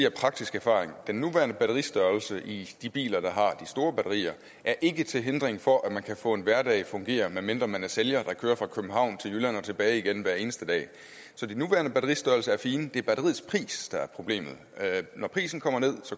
af praktisk erfaring sige den nuværende batteristørrelse i de biler der har de store batterier er ikke til hindring for at man kan få en hverdag til at fungere medmindre man er sælger der kører fra københavn til jylland og tilbage igen hver eneste dag så de nuværende batteristørrelser er fine det er batteriets pris der er problemet når prisen kommer ned